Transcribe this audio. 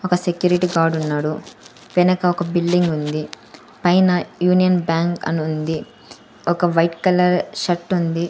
ఒక సెక్యూరిటీ గార్డున్నాడు వెనక ఒక బిల్డింగ్ ఉంది పైన యూనియన్ బ్యాంక్ అనుంది ఒక వైట్ కలర్ షర్టుంది .